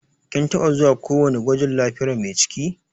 Kin taba zuwa ko wani gwajin lafiyar Mai ciki?